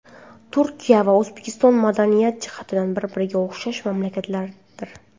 Turkiya va O‘zbekiston madaniy jihatdan bir-biriga o‘xshash mamlakatlardir.